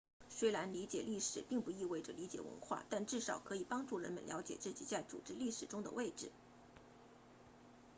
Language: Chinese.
虽然理解历史并不意味着理解文化但至少可以帮助人们了解自己在组织历史中的位置